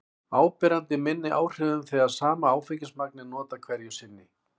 áberandi minni áhrifum þegar sama áfengismagn er notað hverju sinni